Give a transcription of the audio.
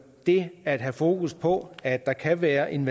det at have fokus på at der kan være en